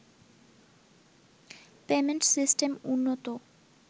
payment system উন্নত